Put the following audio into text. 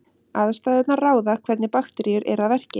Aðstæðurnar ráða hvernig bakteríur eru að verki.